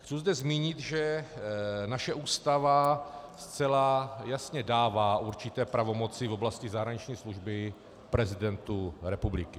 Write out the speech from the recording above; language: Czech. Chci zde zmínit, že naše Ústava zcela jasně dává určité pravomoci v oblasti zahraniční služby prezidentu republiky.